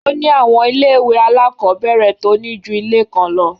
Ó ní àwọn ilé-ìwé alákọ̀ọ́bẹ̀rẹ̀ tó ní ju ilé kan lọ.